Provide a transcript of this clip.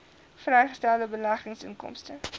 vrygestelde beleggingsinkomste